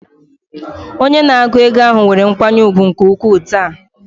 Onye na-ego ego ahụ nwere nkwanye ùgwù nke ukwuu taa.